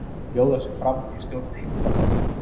Bjóða sig fram í stjórn Heimdallar